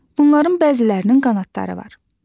Bunların bəzilərinin qanadları var.